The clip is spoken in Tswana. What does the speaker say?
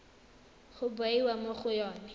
ya bewa mo go yone